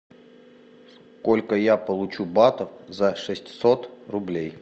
сколько я получу батов за шестьсот рублей